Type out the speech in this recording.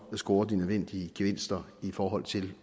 scorer de nødvendige gevinster i forhold til